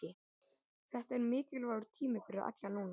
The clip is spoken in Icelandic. Þetta er mikilvægur tími fyrir alla núna.